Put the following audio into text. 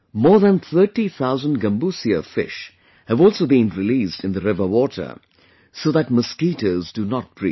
More than thirty thousand Gambusia fish have also been released in the river water so that mosquitoes do not breed